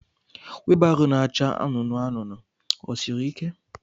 wilbaro na-acha anụnụ anụnụ ọ siri ike?